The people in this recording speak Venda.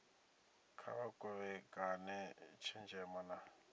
kha vha kovhekane tshenzhemo na